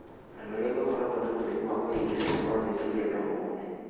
Andũ arĩa makoragwo na mũrimũ wa kũhĩngĩcana kwa meciria no mone